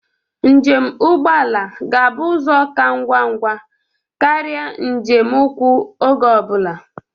Njem ụgbọ ala ga-abụ ụzọ ka ngwangwa karia njem ụkwụ oge ọ bụla.